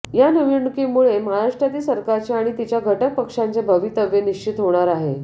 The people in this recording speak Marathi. या निवडणुकीमुळे महाराष्ट्रातील सरकारचे आणि तिच्या घटक पक्षांचे भवितव्य निश्चित होणार आहे